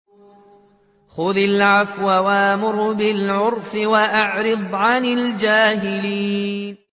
خُذِ الْعَفْوَ وَأْمُرْ بِالْعُرْفِ وَأَعْرِضْ عَنِ الْجَاهِلِينَ